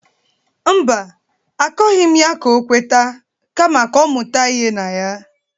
Mba, akọghị m ya ka o kweta kama ka ọ mụta ihi na ya.